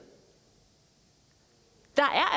der